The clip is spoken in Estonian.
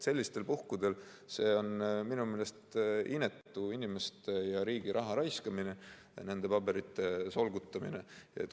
See on minu meelest inetu inimeste ja riigi raha raiskamine, nende paberite solgutamine.